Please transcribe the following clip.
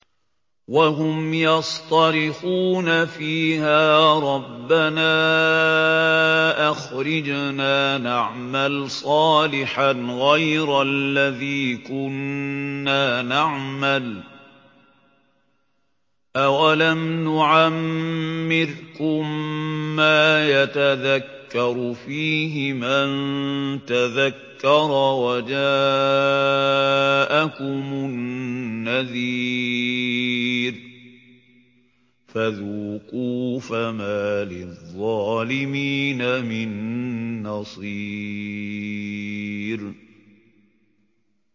وَهُمْ يَصْطَرِخُونَ فِيهَا رَبَّنَا أَخْرِجْنَا نَعْمَلْ صَالِحًا غَيْرَ الَّذِي كُنَّا نَعْمَلُ ۚ أَوَلَمْ نُعَمِّرْكُم مَّا يَتَذَكَّرُ فِيهِ مَن تَذَكَّرَ وَجَاءَكُمُ النَّذِيرُ ۖ فَذُوقُوا فَمَا لِلظَّالِمِينَ مِن نَّصِيرٍ